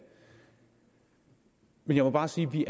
men jeg må bare sige at vi